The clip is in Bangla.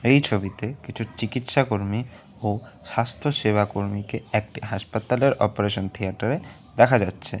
এই ছবিতে কিছু চিকিৎসা কর্মী ও স্বাস্থ্যসেবা কর্মীকে একটি হাসপাতালের অপারেশন থিয়েটার -এ দেখা যাচ্ছে।